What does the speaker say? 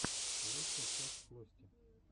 лучшая часть флости